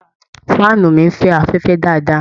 fáànù mi ń fẹ́ afẹfẹ dáadáa